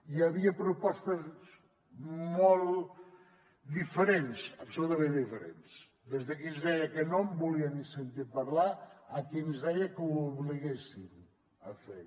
hi havia propostes molt diferents absolutament diferents des de qui ens deia que no en volia ni sentir a parlar a qui ens deia que ho obliguéssim a fer